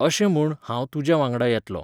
अशें म्हूण, हांव तुज्या वांगडा येतलों.